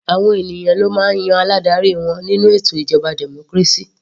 Àwọn ènìyàn ló máa ń yan aládarí wọn nínú ètò ìjọba democracy.